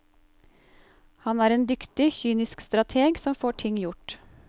Han er en dyktig, kynisk strateg som får ting gjort.